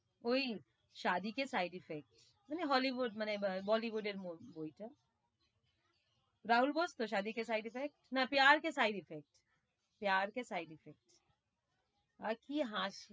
ওই মানে hollywood মানে আহ bollywood এর বইটা রাহুল বোস তো না আর কি হাসি